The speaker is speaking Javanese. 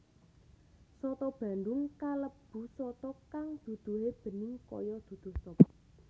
Soto bandung kalebu soto kang duduhé bening kaya duduh sop